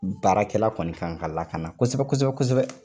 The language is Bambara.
Baarakɛla kɔni kan ka lakana kosɛbɛ kosɛbɛ kosɛbɛ.